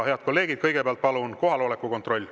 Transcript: Head kolleegid, kõigepealt teeme palun kohaloleku kontrolli.